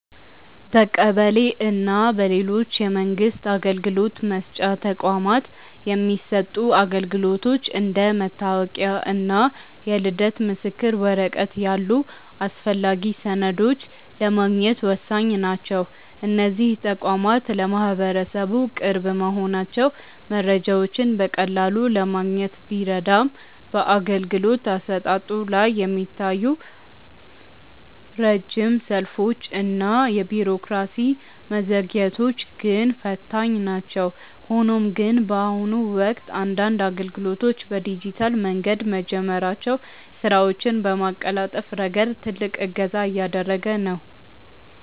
በቀበሌ እና በሌሎች የመንግስት አገልግሎት መስጫ ተቋማት የሚሰጡ አገልግሎቶች እንደ መታወቂያ እና የልደት ምስክር ወረቀት ያሉ አስፈላጊ ሰነዶችን ለማግኘት ወሳኝ ናቸው። እነዚህ ተቋማት ለማህበረሰቡ ቅርብ መሆናቸው መረጃዎችን በቀላሉ ለማግኘት ቢረዳም፣ በአገልግሎት አሰጣጡ ላይ የሚታዩት ረጅም ሰልፎች እና የቢሮክራሲ መዘግየቶች ግን ፈታኝ ናቸው። ሆኖም ግን፣ በአሁኑ ወቅት አንዳንድ አገልግሎቶች በዲጂታል መንገድ መጀመራቸው ስራዎችን በማቀላጠፍ ረገድ ትልቅ እገዛ እያደረገ ነው።